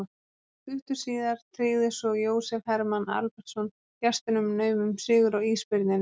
Stuttu síðar tryggði svo Jósef Hermann Albertsson gestunum nauman sigur á Ísbirninum.